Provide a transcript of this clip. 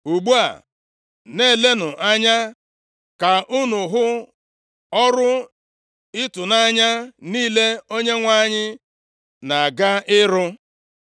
“Ugbu a, na-elenụ anya ka unu hụ ọrụ ịtụnanya niile Onyenwe anyị na-aga ịrụ.